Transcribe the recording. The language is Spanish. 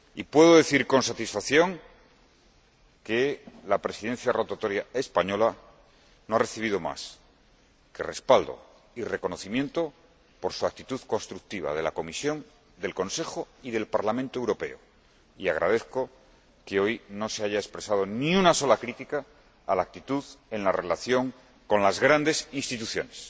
Puedo decir con satisfacción que la Presidencia rotatoria española no ha recibido más que respaldo y reconocimiento, por su actitud constructiva, de la Comisión, del Consejo y del Parlamento Europeo, y agradezco que hoy no se haya expresado ni una sola crítica a la actitud en la relación con las grandes instituciones.